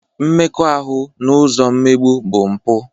Mmekọahụ n'ụzọ mmegbu bụ mpụ.